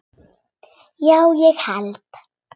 Já, ég hélt.